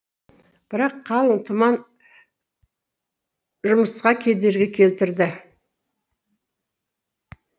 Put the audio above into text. бірақ қалың тұман жұмысқа кедергі келтірді